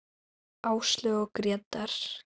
Áslaug og Grétar.